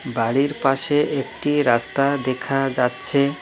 বাড়ির পাশে একটি রাস্তা দেখা যাচ্ছে।